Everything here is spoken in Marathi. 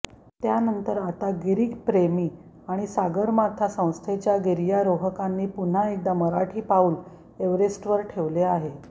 त्यानंतर आता या गिरीप्रेमी आणि सागरमाथा संस्थेच्या गिर्यारोहकांनी पुन्हा एकदा मराठी पाऊल एव्हरेस्टवर ठेवले आहे